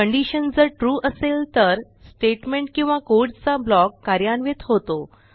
condition जर true असेल तर स्टेटमेंट किंवा कोड चा ब्लॉक कार्यान्वित होतो